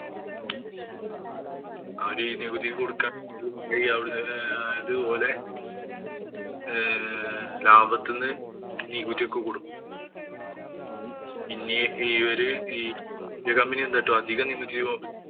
അവര് ഈ നികുതി കൊടുക്കാന്‍ ആയത് പോലെ ഏർ ലാഭത്തിനു നികുതിയൊക്കെ കൊടുക്കും. പിന്നെ ഇവര്